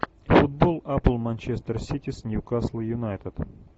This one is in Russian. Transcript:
футбол апл манчестер сити с ньюкасл юнайтед